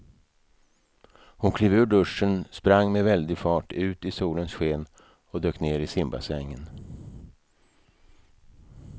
Hon klev ur duschen, sprang med väldig fart ut i solens sken och dök ner i simbassängen.